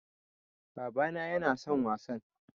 Baba na yana son wasan